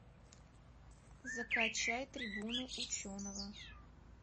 закачай трибуну ученого